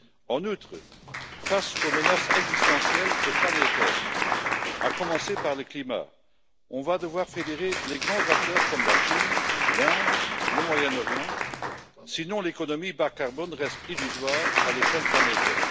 En outre, face aux menaces existentielles et planétaires, à commencer par le climat, on va devoir fédérer les grands acteurs comme la Chine, l'Inde, le Moyen Orient, sinon l'économie bas carbone reste illusoire à l'échelle planétaire.